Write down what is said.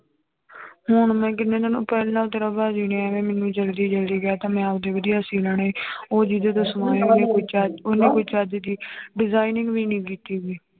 ਹੁਣ ਮੈਂ ਕਿੰਨੇ ਦਿਨ ਪਹਿਲਾਂ ਤੇਰਾ ਭਾਜੀ ਨੇ ਐਵੇਂ ਮੈਨੂੰ ਜ਼ਲਦੀ ਜ਼ਲਦੀ ਕਹਿ ਦਿੱਤਾ ਮੈਂ ਆਪਦੀ ਵਧੀਆ ਸੀਅ ਲੈਣੇ ਉਹ ਜਿਹਦੇ ਤੋਂ ਸਮਾਏ ਉਹਨੇ ਕੋਈ ਚੱ ਉਹਨੇ ਕੋਈ ਚੱਜ ਦੀ designing ਵੀ ਨੀ ਕੀਤੀ ਹੋਈ।